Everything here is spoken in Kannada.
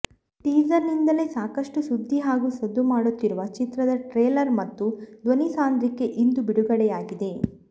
ಟೀಸರ್ ನಿಂದಲೇ ಸಾಕಷ್ಟು ಸುದ್ದಿ ಹಾಗೂ ಸದ್ದು ಮಾಡುತ್ತಿರುವ ಚಿತ್ರದ ಟ್ರೇಲರ್ ಮತ್ತು ಧ್ವನಿಸಾಂದ್ರಿಕೆ ಇಂದು ಬಿಡುಗಡೆಯಾಗಿದೆ